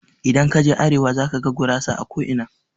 Idan kaje arewa zakaga gurasa a ko'ina.